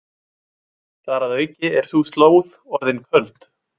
Þar að auki er sú slóð orðin köld.